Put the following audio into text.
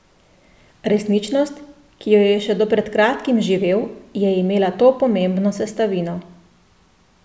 Resničnost, ki jo je še do pred kratkim živel, je imela to pomembno sestavino.